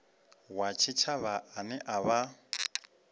wa tshitshavha ane a vha